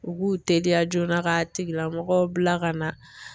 U b'u teliya joona ka tigila mɔgɔ bila ka na.